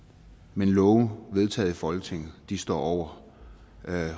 men love vedtaget i folketinget står over